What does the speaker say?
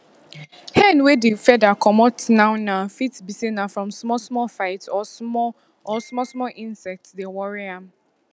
hen wey di feather comot now now fit be say na from small small fight or small or small small insects dey worry am